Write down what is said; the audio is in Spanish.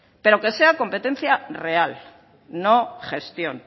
pero que sean competencia real no gestión